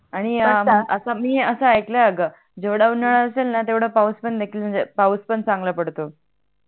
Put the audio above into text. आणि त्यात मी अस आयकल आहे अग जेवडा उनाडा असेल णा तेवडा पाऊस नाही का म्हणजे पाऊस पण चांगला पडतो